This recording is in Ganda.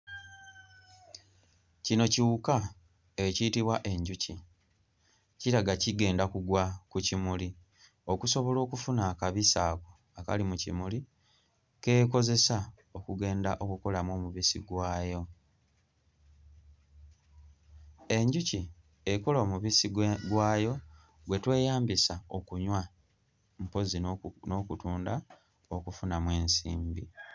Kino kiwuka ekiyitibwa enjuki. Kiraga kigenda kugwa ku kimuli okusobola okufuna akabisi ako akali mu kimuli k'ekozesa okugenda okukolamu omubisi gwayo. Enjuki ekola omubisi gwe gwayo gwe tweyambisa okunywa mpozzi n'oku n'okutunda okufunamu ensimbi.